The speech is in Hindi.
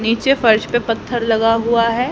नीचे फर्श पे पत्थर लगा हुआ है।